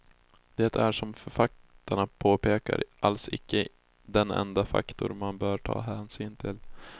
Det är som författarna påpekar alls icke den enda faktor man bör ta hänsyn till.